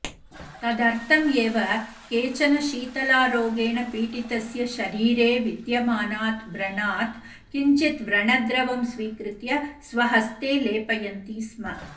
तदर्थम् एव केचन शीतलारोगेण पीडितस्य शरीरे विद्यमानात् व्रणात् किञ्चित् व्रणद्रवं स्वीकृत्य स्वहस्ते लेपयन्ति स्म